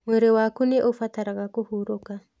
Mwĩrĩ waku nĩ ũbataraga kũhurũka